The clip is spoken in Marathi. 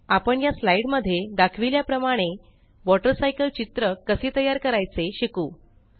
आपण या स्लाईड मध्ये दाखविल्या प्रमाणे वॉटर सायकल चित्र कसे तयार करायचे शिकू